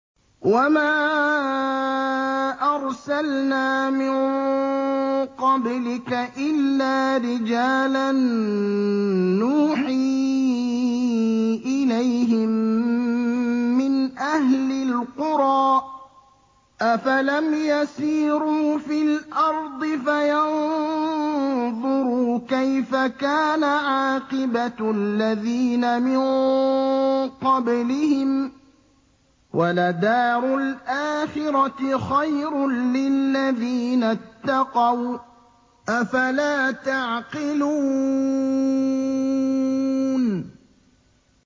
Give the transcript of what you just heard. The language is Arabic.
وَمَا أَرْسَلْنَا مِن قَبْلِكَ إِلَّا رِجَالًا نُّوحِي إِلَيْهِم مِّنْ أَهْلِ الْقُرَىٰ ۗ أَفَلَمْ يَسِيرُوا فِي الْأَرْضِ فَيَنظُرُوا كَيْفَ كَانَ عَاقِبَةُ الَّذِينَ مِن قَبْلِهِمْ ۗ وَلَدَارُ الْآخِرَةِ خَيْرٌ لِّلَّذِينَ اتَّقَوْا ۗ أَفَلَا تَعْقِلُونَ